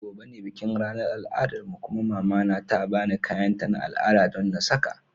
Gobe ​​ne bikin ranar al'adarmu kuma mama na ta ba ni kayanta na al'ada don na saka.